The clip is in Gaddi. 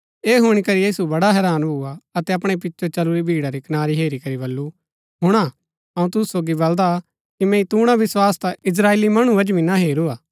ऐह हुणी करी यीशु बड़ा हैरान भुआ अतै अपणै पिचो चलुरी भीड़ा री कनारी हेरी करी बल्लू हुणा अऊँ तुसु सोगी बलदा कि मैंई तूणा विस्वास ता इस्त्राएली मणु मन्ज भी ना हेरूआ